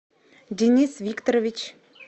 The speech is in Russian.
денис викторович